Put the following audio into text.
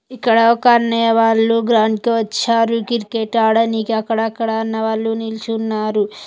ఇక్కడొక అన్నయ్య వాళ్ళు గ్రౌండ్ కి వచ్చారు. క్రికెట్ ఆడ నికి అక్కడక్కడా ఉన్నవాలు నిల్చున్నారు.